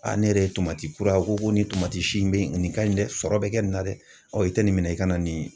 ne yɛrɛ ye tomati kura ko nin tomati si in bɛ nin ka ɲi dɛ sɔrɔ bɛ kɛ nin na dɛ i tɛ nin minɛ i ka na nin.